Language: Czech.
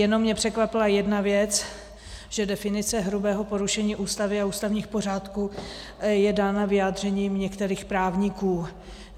Jenom mě překvapila jedna věc, že definice hrubého porušení Ústavy a ústavních pořádků je dána vyjádřením některých právníků.